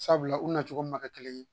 Sabula u na cogo min na ka kelen ye